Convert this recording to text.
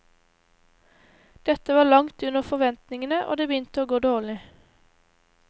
Dette var langt under forventningene og det begynte å gå dårlig.